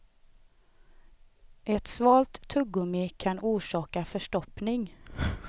Ett svalt tuggummi kan orsaka förstoppning.